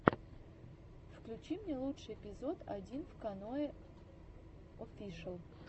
включи мне лучший эпизод одинвканоеофишэл